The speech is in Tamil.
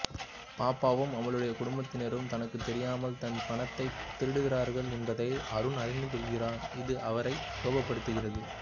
பாப்புவும் அவளுடைய குடும்பத்தினரும் தனக்கு தெரியாமல் தன் பணத்தை திருடுகிறார்கள் என்பதை அருண் அறிந்துகொள்கிறார் இது அவரை கோபப்படுத்துகிறது